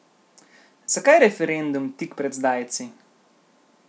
Zakaj referendum tik pred zdajci?